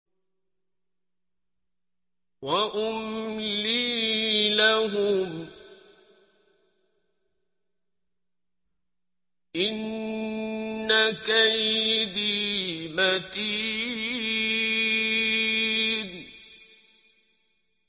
وَأُمْلِي لَهُمْ ۚ إِنَّ كَيْدِي مَتِينٌ